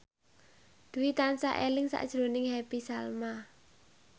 Dwi tansah eling sakjroning Happy Salma